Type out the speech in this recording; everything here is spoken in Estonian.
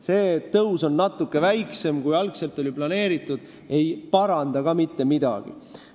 See, et tõus on natuke väiksem, kui algul oli planeeritud, ei paranda ka mitte midagi.